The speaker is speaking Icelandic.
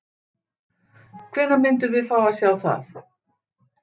Hvenær myndum við fá að sjá það?